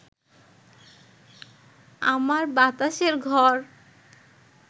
আমার বাতাসের ঘর